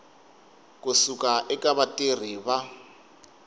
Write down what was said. ku suka eka vatirhi va